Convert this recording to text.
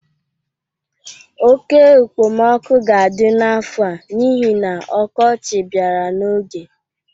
Oke ekpemoku ga-adị n'afọ a n'ihi na ọkọchị bịara n'oge.